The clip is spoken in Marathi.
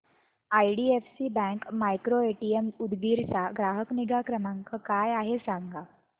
आयडीएफसी बँक मायक्रोएटीएम उदगीर चा ग्राहक निगा क्रमांक काय आहे सांगा